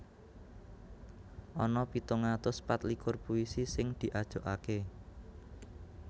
Ana pitung atus patlikur puisi sing diajokaké